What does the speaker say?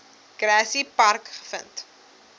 grassy park gevind